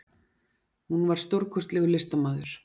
Hún var stórkostlegur listamaður.